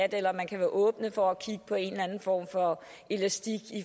eller om man kan være åben over for at kigge på en eller anden form for elastik